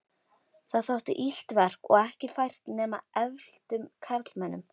Það þótti illt verk og ekki fært nema efldum karlmönnum.